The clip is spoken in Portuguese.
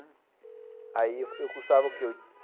Aí eu cursava o quê?